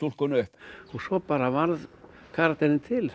svo bara varð karakterinn til